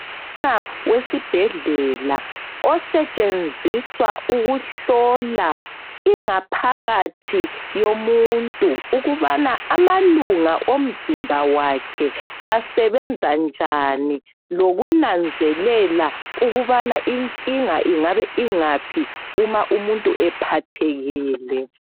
Umtshina wesibhedlela osetshenziswa ukuhlolwa ingaphakathi yomuntu ukubana amalunga omzimba wakhe asebenza njani lokunanzelela ukubani inkinga ingaba ingaphi uma umuntu ephathekile.